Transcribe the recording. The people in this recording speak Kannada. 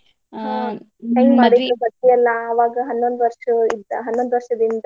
ಹ್ಮ್ ಹೆಂಗ್ ಮಾಡಿದ್ರಿ ಮದ್ವಿಯೆಲ್ಲಾ ಅವಾಗ ಹನ್ನೊಂದ್ ವರ್ಷ ಇದ್ದಾ~ ಹನ್ನೊಂದ್ ವರ್ಷದ ಹಿಂದ ನಿಮ್ದು.